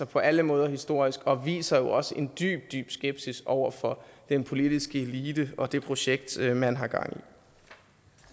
på alle måder historisk og viser også en dyb dyb skepsis over for den politiske elite og det projekt man har gang